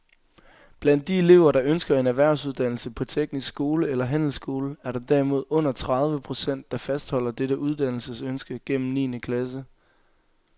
Blandt de elever, der ønsker en erhvervsuddannelse på teknisk skole eller handelsskole, er der derimod under tredive procent, der fastholder dette uddannelsesønske gennem niende klasse.